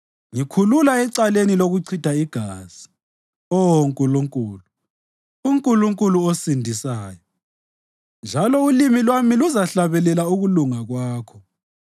Ngikhulula ecaleni lokuchitha igazi, Oh Nkulunkulu, uNkulunkulu ongisindisayo, njalo ulimi lwami luzahlabelela ukulunga kwakho.